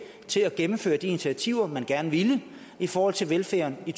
til at gennemføre de initiativer man gerne ville i forhold til velfærden i